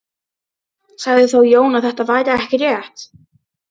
Sagði þá Jón að þetta væri ekki rétt.